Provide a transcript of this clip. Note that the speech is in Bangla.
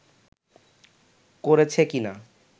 করেছে কি না